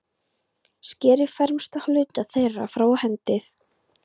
Skerið fremsta hluta þeirra frá og hendið.